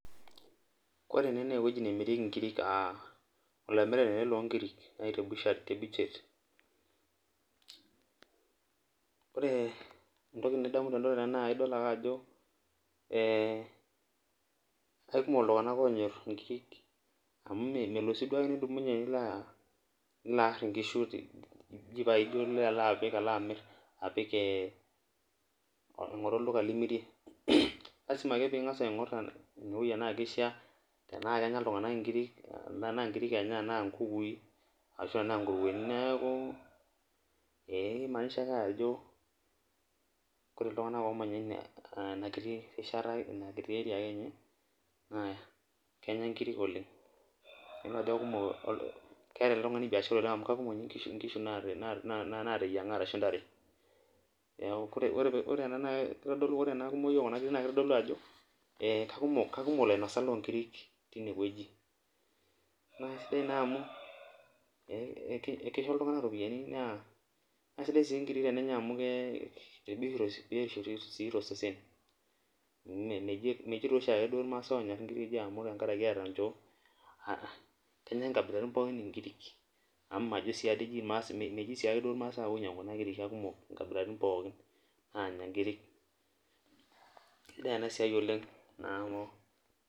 Kore taa eneweji naa nemirieki enkiri, olaimirani ale loo inkiri naa te busheri, ore entoki nidamu tenatoki na idol ake ajo, kekumok iltungana oonyorr inkiri amu melo sii dui nidumunye ake nilo aar inkishu eji paijo pilo apik pilo amirr, apik aing'oru olduka limirie, lasima ake piingas aing'or ana pisha tanaa kenyorr inkiri, tanaa nkiri enya tana nkukui, naaku emaanisha ake ajo kore ltungana oomanya ena kiti rsihata ake ninye naa kenya nkiri oleng, idol ajo kekumo keata ale tungani niashara oleng amu kekumo ninye inkishu naar naateyiang'a arshu intare, naaku ore ena na keitadolu ore ena kumoi oo kuna nkiri naa keitodolu ajo kekumok lainosak loo inkiri teineweji, naaku esidai naa amuu ekeisho ltungana iropiyiani naa kesidai sii ikiri tenyeai amuu kebik rei oshi te sesen, meji too dei oshi lmaasai ake oonya inkiri amu tengaraki eata inchoo, kenya nkabilaritin pookin inkiri amu majo meji siake duo ilmaasai ake oinyang'u kuna inkiri, kekumok inksbilsritin pookin naanya inkiri, kesidaai ena siaii oleng naa amu.